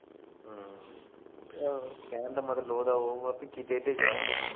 ਕਹਿਣ ਦਾ ਮਤਲਵ ਓਦਾ ਓਹੋ ਆ ਵੀ ਕਿਤੇ ਤੇ ਜਾ